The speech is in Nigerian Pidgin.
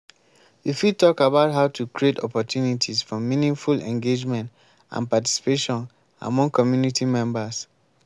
you fit talk about how to create opportunities for meaningful engagement and participation among community members.